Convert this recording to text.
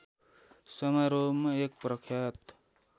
समारोहमा एक प्रख्यात